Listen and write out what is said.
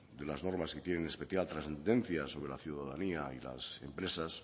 de unas normas que tienen especial trascendencia sobre la ciudadanía y las empresas